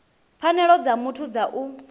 pfanelo dza muthu dza u